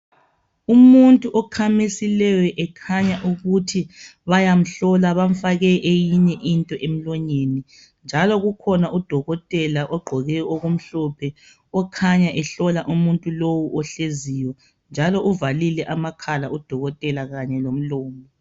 Umuntu okhamisileyo ekhanya ukuthi bayamhlola bamfake eyinye into emlonyeni njalo kukhona udokotela ogqoke okumhlophe okhanya ehlola umuntu lo ohleziyo njalo uvalile amakhala udokotela kanye lomlomo.